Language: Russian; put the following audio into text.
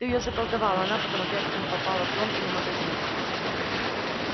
ты её заколдовал а она потом опять к ним попала в дом или магазин